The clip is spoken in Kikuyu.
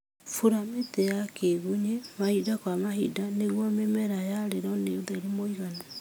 Bura mĩtĩ ya kĩgunyĩ mahinda kwa mahinda nĩguo mĩmera yarĩrwo nĩ ũtheri mũiganu